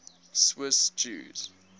swiss jews